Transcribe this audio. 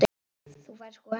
Þú færð sko ekki.